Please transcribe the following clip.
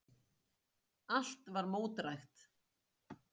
Allt var mótdrægt.